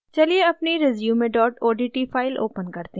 चलिए अपनी resume odt file open करते हैं